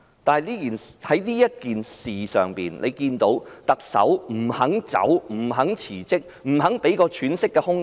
但我們看到特首不肯落台、不肯辭職、不肯給我們一個喘息的空間。